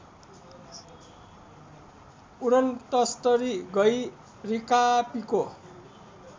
उडनतस्तरी गँइ रिकापीको